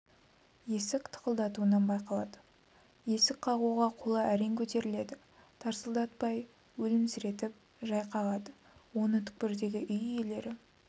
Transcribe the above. есік тықылдатуынан байқалады есік қағуға қолы әрең көтеріледі тарсылдатпай өлімсіретіп жай қағады оны түкпірдегі үй иелері